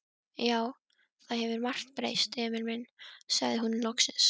Já, það hefur margt breyst, Emil minn, sagði hún loksins.